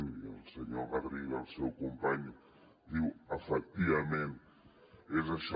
i el senyor garriga el seu company diu efectivament és això